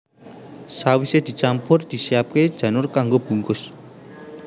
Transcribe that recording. Sawisé dicampur disiapaké janur kanggo bungkus